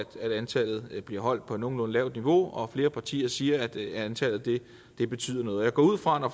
antallet bliver holdt på et nogenlunde lavt niveau og flere partier siger at antallet betyder noget og jeg går ud fra at